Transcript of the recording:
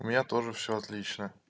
у меня тоже все отлично